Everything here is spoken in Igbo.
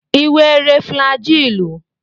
Ị were flajilụ?